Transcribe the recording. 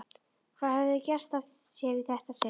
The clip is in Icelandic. Hvað höfðu þau gert af sér í þetta sinn?